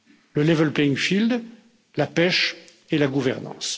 le level playing field la pêche et la gouvernance.